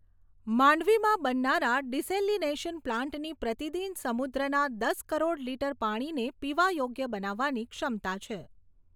માંડવીમાં બનનારા ડીસેલીનેશન પ્લાન્ટથી પ્રતિદિન સમુદ્રના દસ કરોડ લીટર પાણીને પીવા યોગ્ય બનાવવાની ક્ષમતા છે.